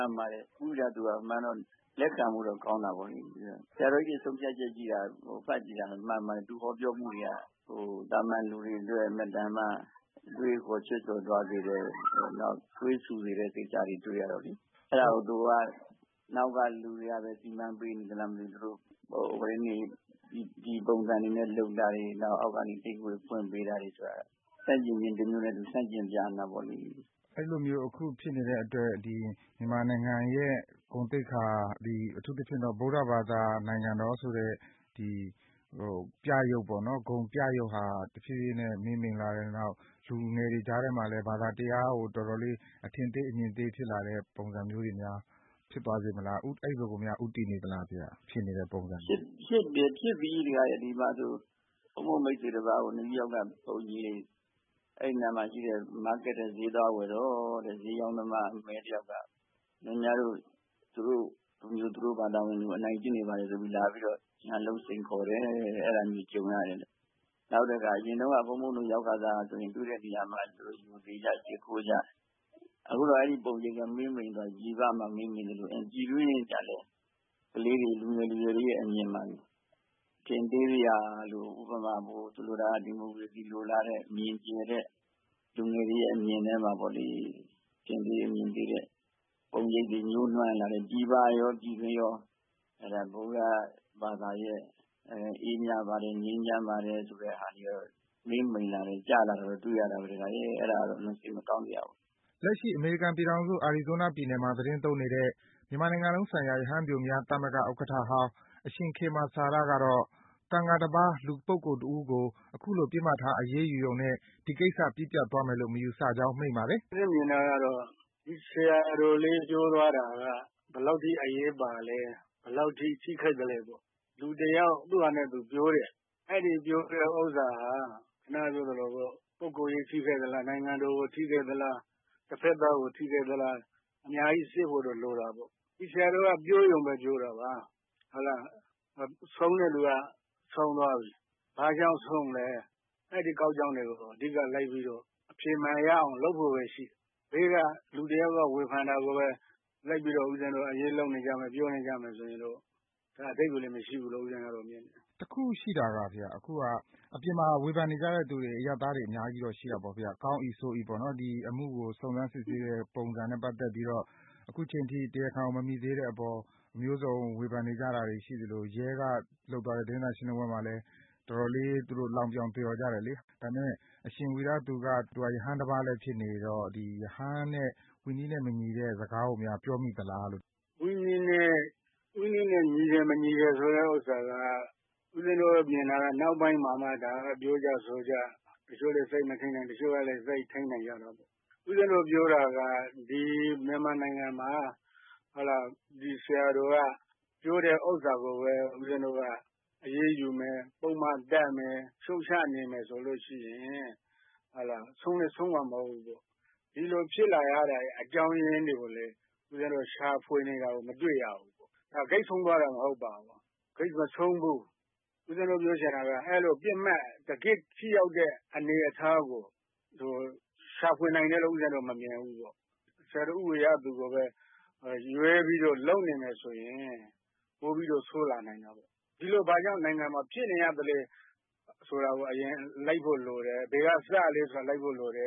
န်ပါတယ် ဦးဝီရသူက လက်ခံဖို့ကောင်းပါတယ်။ ဆရာတော်ကြီးတွေ ဆုံးဖြတ်တာ ဖတ်ကြည့်တာ မှန်ပါတယ်။ သူ့ဟောပြောမှုတွေက သာမာန်သူတွေအတွက် အင်မတန်မှ အတွေးအခေါ် ချွတ်ချော်သွားစေတဲ့ သွေးဆူစေတဲ့ကိစ္စတွေ တွေ့ရတော့လေ။ အဲ့တာကို နောက်က လူတွေကပဲ စီမံပေးနေသလားမသိဘူး သူတို့ ဒီပုံစံလုပ်တာတွေ အောက်ကနေ တိတ်ခွေဖွင့်ပေးတာတွေ ဆန့်ကျင်ခြင်းတမျိုးနဲ့ သူဆန့်ကျင်ပြနေတာပေါ့လေ။" အဲ့သလိုဖြစ်နေတဲ့အတွက် မြန်မာနိုင်ငံရဲ့ဂုဏ်သိက္ခာ အထူးသဖြင့်တော့ ဗုဒ္ဓဘာသာနိုင်ငံတော်ဆိုတဲ့ ဂုဏ်ပြရုပ်ဟာ တဖြေးဖြေးနဲ့ မှေးမှိန်လာတယ်။ နောက် လူငယ်တွေကြားထဲမှာလည်း ဘာသာတရားကို တော်တော်လေး အထင်သေးအမြင်သေး ဖြစ်သွားစေတဲ့ ပုံစံမျိုးများ ဖြစ်သွားစေမလား။ အဲ့ဘက်ကိုများ ဦးတည်နေသလားဘုရား။ ဖြစ်နေတဲ့ပုံစံတွေက။ ဖြစ်တယ် ဖြစ်နေပြီ ဒကာရဲ့ ဒီမှာဆို ဘုန်းကြီးမိတ်ဆွေ ဒကာတယောက် အဲ့နားမှာရှိတဲ့ မားကတ်စ်ထဲ ဈေးသွား ဝယ်တော့ ဈေးရောင်းတဲ့ တယောက်က ခင်ဗျားတို့ သူတို့လူမျိုး သူတို့ဘာသာဝင်တွေကို အနိုင်ကျင့်နေတယ်ဆိုပြီး ရန်လုပ်စိန်ခေါ်တယ်တဲ့ အဲ့တာမျိုး ကြုံရတယ်တဲ့ နောက်တခါ ဘုန်းဘုန်းတို့ရောက်ခါစက ဆိုရင် တွေ့တဲ့နေရာမှာ သေချာရှိခိုးကြ။ အခုတော့ အဲ့ဒီ့ပုံရိပ်က မှေးမှိန်သွားပြီ။ အမေရိကားမှာ မှေးမှိန်သွားသလို ပြည်တွင်းကျတော့လည်း ကလေးတွေ လူငယ်လူရွယ်တွေ အမြင်မှာ အထင်သေးစရာလို ဥပမာ ဒီမိုကရေစီလိုလားတဲ့ အမြင်ကျယ်တဲ့ လူငယ်တွေရဲ့အမြင်ထဲမှာ အထင်သေး အမြင်သေးတဲ့ ပုံရိပ်တွေ ညှိုးနွမ်းလာတယ်။ ပြည်ပရော ပြည်တွင်းရော ဗုဒ္ဓဘာသာရဲ့အေးမြပါတယ် ငြိမ်းချမ်းပါတယ်ဆိုတဲ့မှေးမိန်လာတာ ကျလာတာကို တွေ့ရတာပဲ ဒကာရယ်။ အဲ့တာတော့ အလွန်စိတ်မကောင်းစရာပေါ့။ "ဦးဇင်းမြင်တာကတော့ ဒီဆရာတော်လေး ပြောသွားတာက ဘယ်လောက်အထိ အရေးပါသလဲ။ ဘယ်လောက်အထိ ထိခိုက်သလဲပေါ့။ လူတယောက် သူ့ဘာသာသူပြောတဲ့ အဲ့ဒီ့ပြောတဲ့ဥစ္စာဟာ ခုနကပြောသလို ပုဂ္ဂိုလ်ရေးထိခိုက်သလား၊ နိုင်ငံတော်ကို ထိခိုက်သလား။ တဖက်သားကို ထိခိုက်သလား အများကြီး စစ်ဖို့တော့ လိုတာပေါ့။ ဒီဆရာတော်က ပြောရုံပဲ ပြောတာပါ။ ဆုံးတဲ့သူက ဆုံးသွားပြီ။ ဘာကြောင့်ဆုံးသလဲ အဓိက ကောက်ကြောင်းတွေကို အဓိက လိုက်ပြီးတော့ အဖြေမှန်ရအောင် လုပ်ဖို့ပဲရှိတယ်။ ဘေးက လူတယောက်က ဝေဖန်တာကို လိုက်ပြီး အရေးလုပ်နေကြမယ် ပြောနေကြမယ်ဆိုရင် ဒါအဓိပ္ပါယ်လည်း မရှိဘူးလို့ ဦးဇင်းကတော့ မြင်တယ်။ တခုရှိတာက အပြင်မှာ ဝေဖန်နေကြတဲ့သူတွေ အရပ်သားတွေတော့ အများကြီးရှိကြတာပေါ့ဘုရား။ ကောင်း၏ ဆိုး၏ ဒီအမှုကို စစ်ဆေးတဲ့ပုံစံနဲ့ ပတ်သက်ပြီးတော့ အခုအချိန်အထိ တရားခံကို မမိသေးတဲ့အပေါ် အမျိုးစုံအောင် ဝေဖန်နေကြတာတွေ ရှိသလို ရဲကလုပ်သွားတဲ့ သတင်းစာ ရှင်းလင်းပွဲမှာလည်း တော်တော်လေး လှောင်ပြောင်သရော်ကြတာလေ။ ဒါပေမဲ့ အရှင်ဝီရသူက ရဟန်းတပါးလည်းဖြစ်နေတော့ ရဟန်းနဲ့ ဝိနည်းနဲ့မညီတဲ့စကားကိုများ ပြောမိသလားလို့။ ဝိနည်းနဲ့ ညီတယ် မညီတယ်ဆိုတဲ့ဥစ္စာက ဦးဇင်းတို့မြင် တာကတော့ နောက်ပိုင်းမှ ပြောကြဆိုကြ။ တချို့လည်း စိတ်မထိန်းနိုင်၊ တချို့ကျတော့လည်း စိတ်ထိန်းနိုင်ကြတာပေါ့။ ဦးဇင်းတို့ပြောတာက ဒီမြန်မာနိုင်ငံမှာ ဒီဆရာတော်ကပြော တာကိုပဲ ဦးဇင်းတို့က အရေးယူမယ်။ ပုဒ်မတပ်မယ် ရှုတ်ချနေမယ် ဆိုလို့ရှိရင် ဆုံးလည်း ဆုံးမှာ မဟုတ်ဘူးလေ။ ဒီလိုဖြစ်လာရတဲ့အကြောင်းရင်းတွေ ရှာဖွေနေတာကို ဦးဇင်းတို့ မတွေ့ရဘူး။ ဒါ ဂိတ်ဆုံးသွားတာမဟုတ်ပါဘူး။ ဒါ ဂိတ်မဆုံးဘူး။ ဦးဇင်းပြောချင်တာက တကယ့်ပစ်မှတ် ထိရောက်တဲ့အနေအထားကို ရှာဖွေနိုင်တယ်လို့ ဦးဇင်းတို့မမြင်ဘူးပေါ့။ ဆရာတော်ဦးဝီရသူကိုပဲ ရွေးပြီးတော့ လုပ်နေမယ်ဆိုရင် ပိုပြီးတော့ ဆိုးလာနိုင်တာပေါ့။ ဒီလိုနိုင်ငံမှာ ဘာကြောင့်ဖြစ်နေရသလဲဆိုတာကို အရင်လိုက်ဖို့လိုတယ် ဘယ်က ဇစ်မြစ်ကလဲ ဆိုတာ လိုက်ဖို့လိုတယ